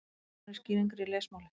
Nánari skýringar í lesmáli.